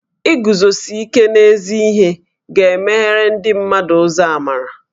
Iguzosi ike n'ezi ihe ga-emeghere ndị mmadụ ụzọ amarà